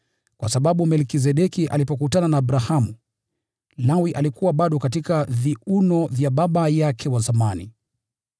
kwa sababu Melkizedeki alipokutana na Abrahamu, Lawi alikuwa bado katika viuno vya baba yake wa zamani.